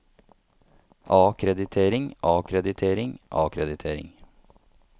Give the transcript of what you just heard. akkreditering akkreditering akkreditering